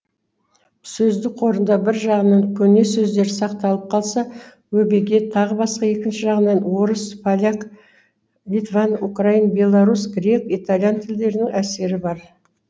сөздік қорында бір жағынан көне сөздер сақталып қалса өбеге тағы басқа екінші жағынан орыс поляк литван украин белорус грек итальян тілдерінің әсері бар